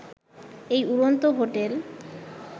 এই উড়ন্ত হোটেল